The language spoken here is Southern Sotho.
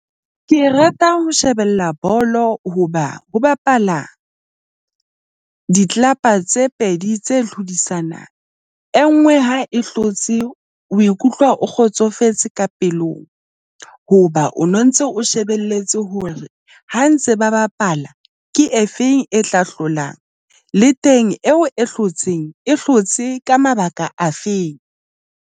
Ke rata ho shebella bolo hoba ho bapala di-club-a tse pedi tse hlodisana. E nngwe ha e hlotse o e ikutlwa, o kgotsofetse ka pelong hoba o no ntse o shebelletse hore ha ntse ba bapala ke e feng e tla hlolang le teng eo e hlotseng e hlotse ka mabaka afeng.